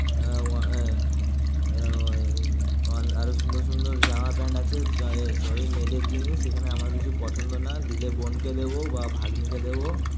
আ- আ- আ- আরো সুন্দর সুন্দর জামা প্যান্ট আছে সবই সবই মেয়েদের জিনিস এখানে আমার কিছু পছন্দ না দিলে বোনকে দেবো বা ভাগ্নিকে দেবো ।